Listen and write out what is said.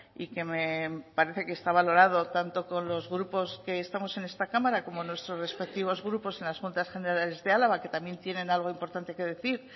y que me parece que está valorado tanto con los grupos que estamos en esta cámara como nuestros respectivos grupos en las juntas generales de álava que también tienen algo importante que decir